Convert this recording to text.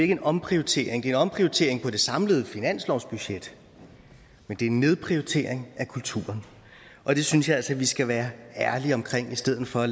en omprioritering det er en omprioritering på det samlede finanslovsbudget men det er en nedprioritering af kulturen og det synes jeg altså at vi skal være ærlige omkring i stedet for